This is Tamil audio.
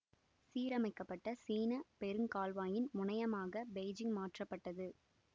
சீரமைக்கப்பட்ட சீன பெரு கால்வாயின் முனையமாகப் பெய்ஜிங் மாற்றப்பட்டது